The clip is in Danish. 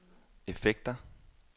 effekter